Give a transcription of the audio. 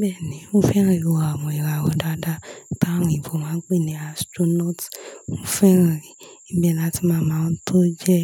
Bẹ́ẹ̀ni, mo fẹ́ràn ìwo àwọn ìràwọ̀ dáadáa táwon òyinbo máa ń pè ní astronaut. Mo fẹ́ràn re, ìbẹ̀ làti máa mọ àwọn tó jẹ́